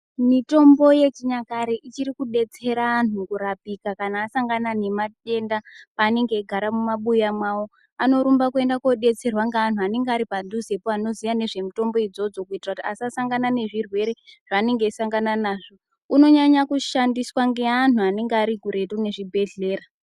Mitombo yechinyakare ichiri kudetsera antu kurapika kana asangana nematenda pavanenge vachigara mumabuya avo anorumba kuenda kodetserwa neantu anenge aripadhuze vanoziya nezvemutombo idzodzo kuti asasangana nezvirwere zvanenge akusangana nazvo unonyanya kushandiswa neantu anenge Ari kure nezvibhedhlera.